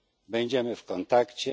Będziemy w kontakcie.